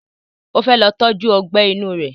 O fẹ́ lọ tọ́jú Ọgbẹ́ inú rẹ̀